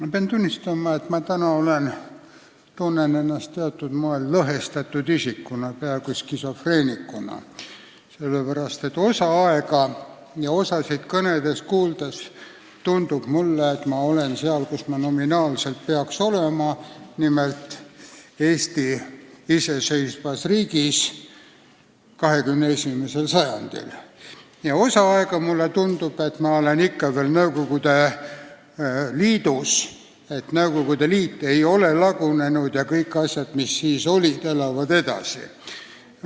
Ma pean tunnistama, et ma tunnen ennast täna teatud moel lõhestatud isikuna, peaaegu skisofreenikuna, sest osa aega ja mõnda kõnet kuulates tundus mulle, et ma olen seal, kus ma peaks nominaalselt olema, nimelt iseseisvas Eesti riigis 21. sajandil, aga osa aega mulle tundus, et me olen ikka veel Nõukogude Liidus, Nõukogude Liit ei ole lagunenud ja kõik asjad, mis olid siis, elavad edasi.